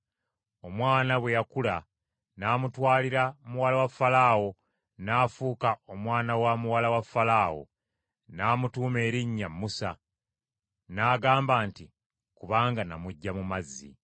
Omwana bwe yakula, n’amutwalira muwala wa Falaawo, n’afuuka omwana wa muwala wa Falaawo. N’amutuuma erinnya Musa, n’agamba nti, “Kubanga namuggya mu mazzi.”